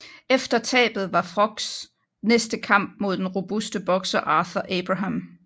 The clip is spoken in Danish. Efter tabet var Frochs næste kamp mod den robuste bokser Arthur Abraham